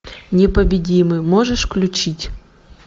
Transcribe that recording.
непобедимый можешь включить